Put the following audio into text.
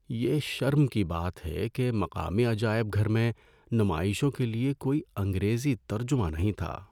یہ شرم کی بات ہے کہ مقامی عجائب گھر میں نمائشوں کے لیے کوئی انگریزی ترجمہ نہیں تھا۔